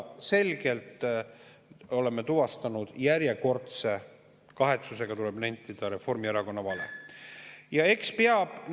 Selgelt oleme tuvastanud, kahetsusega tuleb nentida, Reformierakonna järjekordse vale.